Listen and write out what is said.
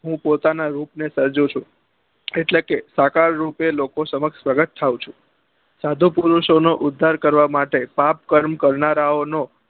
હું પોતાના રૂપ ને સર્જુ છું એટલે કે આકાળ રૂપે લોકો સમક્ષ પ્રગટ થાઉં છું સાધુ પરુષો નો ઉદ્ધાર કરવા માટે પાપ કર્મ કરનારા ઓ નો